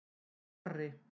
Marri